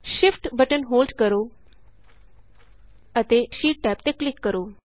Shift button hold ਕਰੋ ਅਤੇ sheet tab ਤੇ ਕਲਿਕ ਕਰੋ